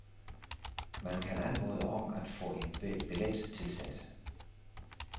Man kan anmode om at få en billet tilsendt.